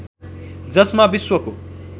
जसमा विश्वको